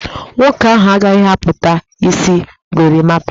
Nwoke ahụ agaghị akpụta isi Gorimapa